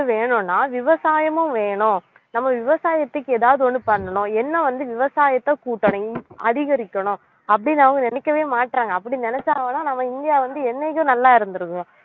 வேணும்னா விவசாயமும் வேணும் நம்ம விவசாயத்துக்கு ஏதாவது ஒண்ணு பண்ணணும் என்ன வந்து விவசாயத்தை கூட்டணும் இந்~ அதிகரிக்கணும் அப்படின்னு அவங்க நினைக்கவே மாட்றாங்க அப்படி நினைச்சாங்கன்னா நம்ம இந்தியா வந்து என்னைக்கோ நல்லா இருந்திருக்கும்